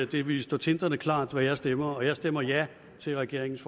det ville stå tindrende klart hvad jeg stemmer og jeg stemmer ja til regeringens